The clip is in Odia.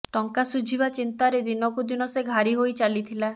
ଟଙ୍କା ସୁଝିବା ଚିନ୍ତାରେ ଦିନକୁ ଦିନ ସେ ଘାରି ହୋଇ ଚାଲିଥିଲା